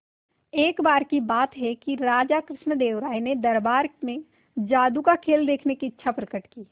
एक बार की बात है कि राजा कृष्णदेव राय ने दरबार में जादू का खेल देखने की इच्छा प्रकट की